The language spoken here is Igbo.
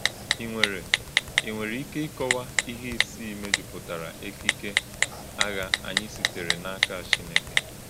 Ì nwere Ì nwere ike ìkọwa íhè isii mejupụtara èkìké àgha ányí sitere n’ákà Chínekè?